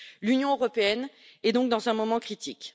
L'Union européenne est donc dans un moment critique.